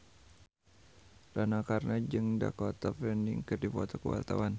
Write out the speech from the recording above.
Rano Karno jeung Dakota Fanning keur dipoto ku wartawan